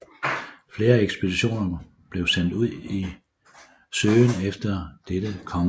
Flere ekspeditioner blev sendt ud i søgen efter dette kongedømme